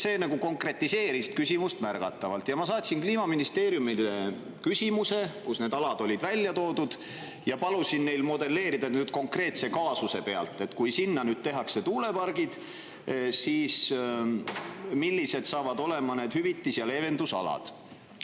See konkretiseeris küsimust märgatavalt ja ma saatsin Kliimaministeeriumile küsimuse, kus need alad olid välja toodud, ja palusin neil modelleerida konkreetse kaasuse pealt, et kui nüüd tehakse tuulepargid, siis millised saavad olema need hüvitus‑ ja leevendusalad.